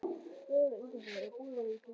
Vörðufell, Ingólfsfjall og Búrfell í Grímsnesi.